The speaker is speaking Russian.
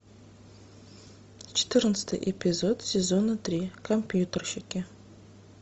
четырнадцатый эпизод сезона три компьютерщики